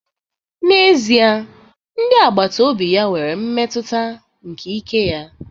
N'ezie, ndị agbata obi ya nwere mmetụta nke ike ya